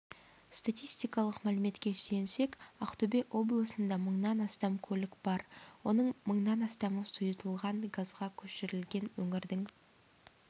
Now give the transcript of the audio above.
статистикалық мәліметке сүйенсек ақтөбе облысында мыңнан астам көлік бар оның мыңнан астамы сұйылтылған газға көшірілген өңірдің